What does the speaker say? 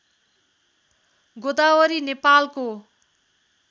गोदावरी नेपालको